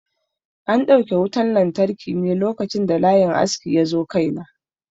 An dauke wutan lantarki ne a lokacin da layin askin yazo kai na.